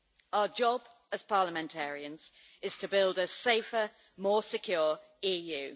Our job as parliamentarians is to build a safer, more secure, EU.